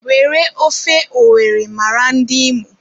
Were ofe owere mara ndị Imo